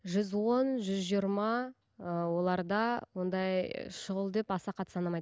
жүз он жүз жиырма ыыы оларда ондай шұғыл деп аса қатты санамайды